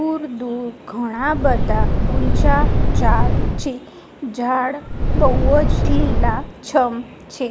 દૂર-દૂર ઘણા બધા ઊંચા ઝાડ છે ઝાડ બૌજ લીલા છમ છે.